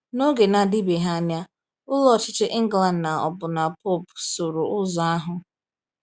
N’oge na-adịbeghị anya, Ụlọ Ọchịchị England na ọbụna Pope sooro ụzọ ahụ.